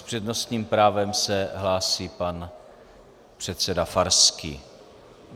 S přednostním právem se hlásí pan předseda Farský.